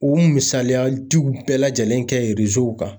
U misaliya diw bɛɛ lajɛlen kɛ kan.